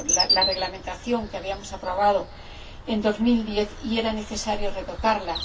la reglamentación que habíamos aprobado en 2010, y era necesario retocarla.